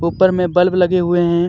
ऊपर में बल्ब लगे हुए हैं.